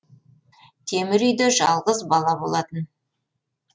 темір үйде жалғыз бала болатын